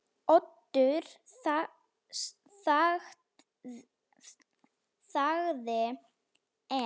Oddur þagði enn.